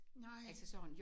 Nej!